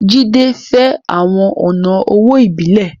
Jídé fẹ́ àwọn ọ̀nà owó ìbílẹ̀